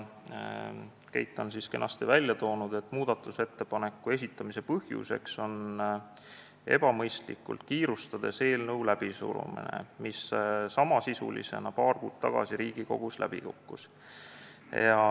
Keit tõi kenasti välja, et muudatusettepaneku esitamise põhjuseks oli katse eelnõu ebamõistlikult kiirustades läbi suruda, kuigi samasisuline eelnõu kukkus paar kuud tagasi Riigikogus läbi.